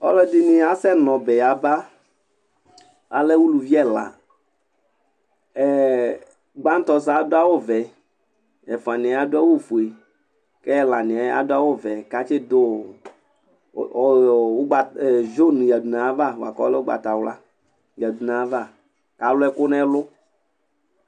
Ɔlɔ dɩnɩ asɛ nɔbɛ aba, alɛ ʊlʊvɩ ɛla Gbatɔ sʊɛ adʊ awʊ vɛ, ɛfʊaniɛ aɗʊ awʊ fʊe kɛlanɩɛ adʊ awʊ vɛ nʊ ʊgbatawla kalʊ ɛkʊ nɛlʊ